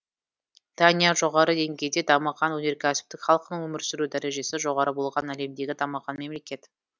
дания жоғары деңгейде дамыған өнеркәсіптік халқының өмір сүру дәрежесі жоғары болған әлемдегі дамыған мемлекет